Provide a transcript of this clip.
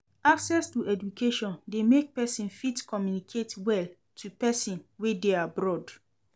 Access to education de make persin fit communicate well to persin wey de abroad